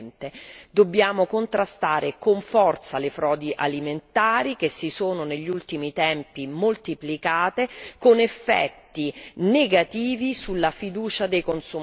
Dobbiamo contrastare con forza le frodi alimentari, che si sono negli ultimi tempi moltiplicate, con effetti negativi sulla fiducia dei consumatori.